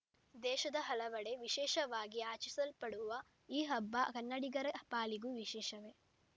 ದೇಶದ ಹಲವೆಡೆ ವಿಶೇಷವಾಗಿ ಆಚರಿಸಲ್ಪಡುವ ಈ ಹಬ್ಬ ಕನ್ನಡಿಗರ ಪಾಲಿಗೂ ವಿಶೇಷವೇ